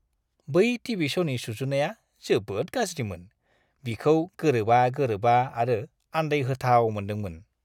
बै टीवी श'नि सुजुनाया जोबोद गाज्रिमोन। बिखौ गोरोबा-गोरोबा आरो आन्दायहोथाव मोनदोंमोन।